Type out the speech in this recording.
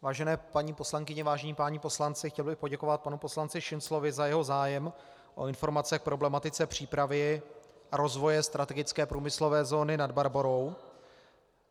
Vážené paní poslankyně, vážení páni poslanci, chtěl bych poděkovat panu poslanci Šinclovi za jeho zájem o informace k problematice přípravy a rozvoje strategické průmyslové zóny Nad Barborou.